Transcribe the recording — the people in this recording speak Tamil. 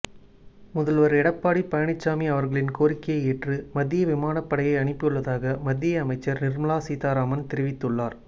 முதல்வர் எடப்பாடி பழனிச்சாமி அவர்களின் கோரிக்கையை ஏற்று மத்திய விமானப்படையை அனுப்பியுள்ளதாக மத்திய அமைச்சர் நிர்மலா சீதாராமன் தெரிவித்துள்ளார்